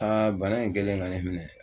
Aa bana in kɛlen ka ne minɛ